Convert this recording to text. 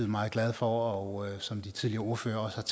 meget glade for og som de tidligere ordførere også